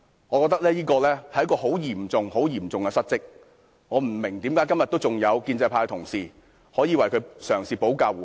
我覺得這是很嚴重的失職，我不明白為甚麼今天還有建制派同事，嘗試為他保駕護航。